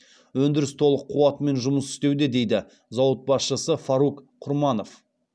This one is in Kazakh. өндіріс толық қуатымен жұмыс істеуде дейді зауыт басшысы фарук құрманов